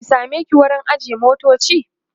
in sameki wurin ajiye motoci?